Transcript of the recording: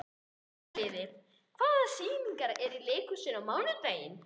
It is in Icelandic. Sumarliði, hvaða sýningar eru í leikhúsinu á mánudaginn?